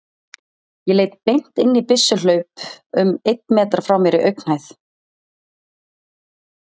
Ég leit beint inn í byssuhlaup um einn metra frá mér í augnhæð.